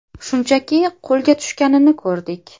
Shunchaki qo‘lga tushganini ko‘rdik.